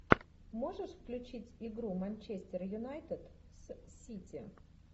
можешь включить игру манчестер юнайтед с сити